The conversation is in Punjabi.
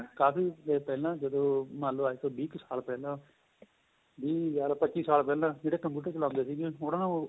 ਕਾਫ਼ੀ ਪਹਿਲਾਂ ਜਦੋਂ ਮੰਨਲੋ ਅੱਜ ਤੋ ਵੀਹ ਕ਼ ਸਾਲ ਪਹਿਲਾਂ ਵੀਹ ਕਹਿਲੋ ਪੱਚੀ ਸਾਲ ਪਹਿਲਾਂ ਜਿਹੜੇ computer ਚਲਾਉਦੇ ਸੀਗੇ